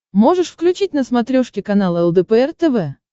можешь включить на смотрешке канал лдпр тв